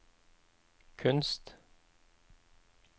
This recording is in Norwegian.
kunst